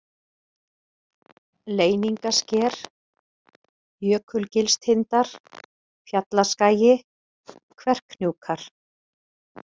Leyningasker, Jökulgilstindar, Fjallaskagi, Kverkhnjúkar